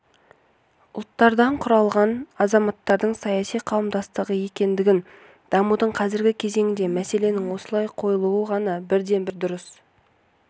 жылы құрылған қазақстан халықтары ассамблеясының үшінші сессиясында елбасы назарбаев қазақстан халқы жаңа этникалық қауым еместігін әртүрлі